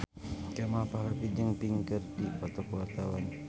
Kemal Palevi jeung Pink keur dipoto ku wartawan